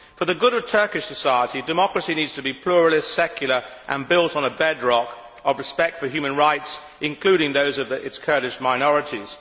For the good of Turkish society, democracy needs to be pluralist, secular and built on a bed rock of respect for human rights, including those of its Kurdish minorities.